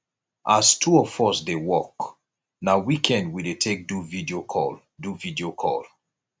as two of us dey work na weekend we dey take do video call do video call